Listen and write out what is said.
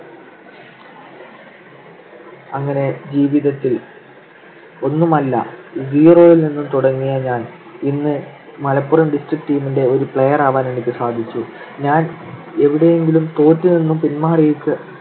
അങ്ങനെ ജീവിതത്തിൽ ഒന്നുമല്ല zero യിൽ നിന്ന് തുടങ്ങിയ ഞാൻ ഇന്ന് മലപ്പുറം district team ന്റെ player ആവാൻ എനിക്ക് സാധിച്ചു. ഞാൻ എവിടെയെങ്കിലും തോറ്റു നിന്ന് പിൻമാറിയിട്ട്